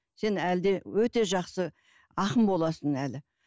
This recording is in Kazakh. сен әлі де өте жақсы ақын боласың әлі